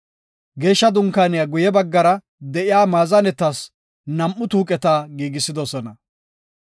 Geeshsha Dunkaaniya guye baggan de7iya maazanetas nam7u tuuqeta giigisidosona.